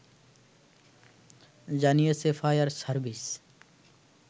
জানিয়েছে fire service